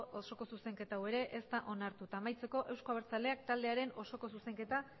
osoko zuzenketa hau ere ez da onartu eta amaitzeko euzko abertzaleak taldearen osoko zuzenketa